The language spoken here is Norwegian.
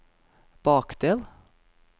bakdel